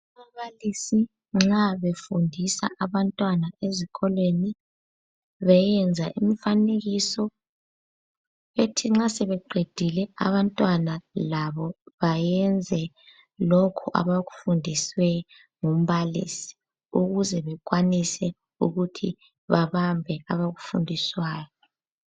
Ababalisi nxa befundisa abantwana ezikolweni bayenza umfanekiso bethi nxa sebeqedile abantwana labo bayenze lokhu abakufundiswe ngumbalisi ukuze bekwanise ukuthi babambe abakufundiswayo.